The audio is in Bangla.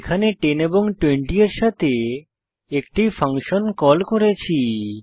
এখানে 10 এবং 20 এর সাথে একটি ফাংশন কল করেছি